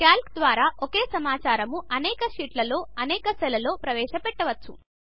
Calc ద్వారా ఒకే సమాచారమును అనేక షీట్లలో ఒకే సెల్లో ఎంటర్ చేయవచ్చు